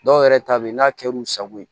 Dɔw yɛrɛ ta bɛ yen n'a kɛr'u sago ye